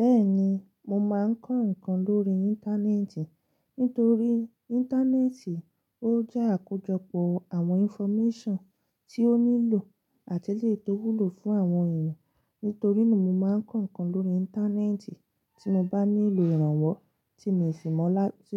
Bẹ́ẹ̀ni, mo máa ń kọ́ nnkan lórí Íńtánẹ́ẹ̀tì nítorí Íńtánẹ́ẹ̀tì ó jẹ́ àkójọpọ̀ àwọn information tí ó nílò àti eleyi tó wúlò fún àwọn èèyàn. Nítorí náà mi máa ń kọ́ ǹkan lórí Íńtánẹ́ẹ̀tì tí mo bá nílò ìrànwọ́ tí